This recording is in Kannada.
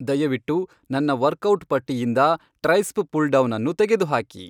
ದಯವಿಟ್ಟು ನನ್ನ ವರ್ಕೌಟ್ ಪಟ್ಟಿಯಿಂದ ಟ್ರೈಸ್ಪ್ ಪುಲ್ ಡೌನ್ ಅನ್ನು ತೆಗೆದುಹಾಕಿ